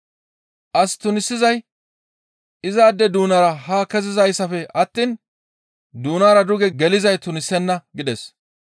As tunisizay izaade doonara haa kezizayssafe attiin doonara duge gelizay tunisenna» gides.